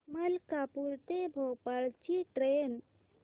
मलकापूर ते भोपाळ ची ट्रेन